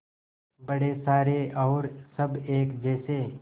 बड़े सारे और सब एक जैसे